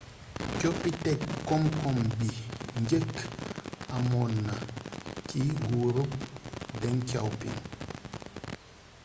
coppiték komkom bi njeekk amoonna ci nguuruk deng xiaoping